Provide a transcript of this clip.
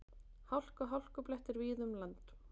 Hálka og hálkublettir víða um land